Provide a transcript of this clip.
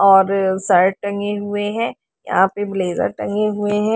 और शर्ट टंगे हुए हैं यहां पे ब्लेजर टंगे हुए हैं।